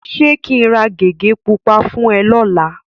Ṣé kí n ra gègé pupa fún ẹ lọ́la?